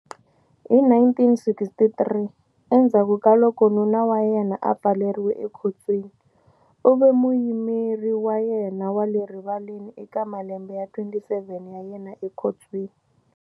Hi 1963, endzhaku ka loko nuna wa yena a pfaleriwe ekhotsweni, u ve muyimeri wa yena wa le rivaleni eka malembe ya 27 ya yena ekhotsweni.